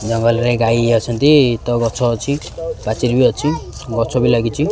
ଜଙ୍ଗଲ ରେ ଗାଈ ଅଛନ୍ତି ତ ଗଛ ଅଛି ପାଚିରି ବି ଅଛି ଗଛ ବି ଲାଗିଚି।